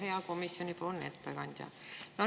Hea komisjoni ettekandja!